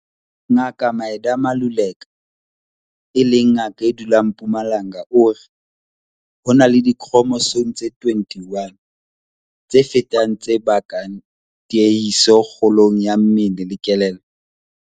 Ngaka Midah Maluleka, e leng ngaka e dulang Mpumalanga o re, "Ho na le dikhromosome tse 21, Trisomi 21, tse fetang tse bakang tiehiso kgolong ya mmele le kelello."